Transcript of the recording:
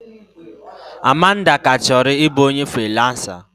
Amanda ka chọrọ ịbụ onye friiransa.